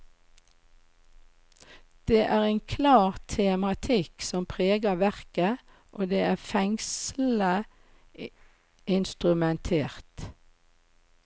Det er en klar tematikk som preger verket, og det er fengslende instrumentert.